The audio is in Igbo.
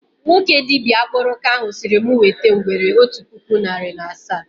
Nwoke dibịa akpụrụka ahụ sịrị mụ wete ngwere otu puku narị na asaa